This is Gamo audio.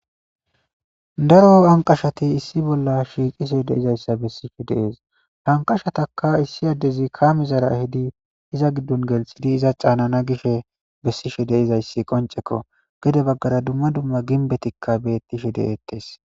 daro anqashati issi bolla shiiqise deizayssa bessishe dees hanqashataka issi addezi kaamizara hidi iza giddon gelxidi iza caanana gishe bessishe deizayssi qoncekko gede baggara dumma dumma ginbetikka bettishe de7ettes